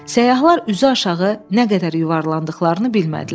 Səyyahlar üzüaşağı nə qədər yuvarlandıqlarını bilmədilər.